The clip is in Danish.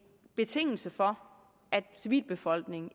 betingelse for at civilbefolkningen